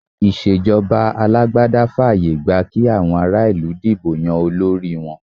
Ìṣèjọba alágbádá fààyè gba kí àwọn ará-ìlú dìbò yan olórí wọn.